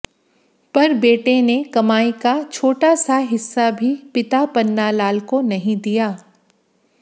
पर बेटे ने कमाई का छोटा सा हिस्सा भी पिता पन्ना लाल को नहीं दिया